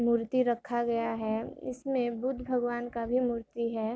मूर्ति रखा गया है उसमें बुद्ध भगवान का भी मूर्ति है।